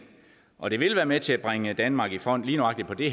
og det vil være med til at bringe danmark i front lige nøjagtig på det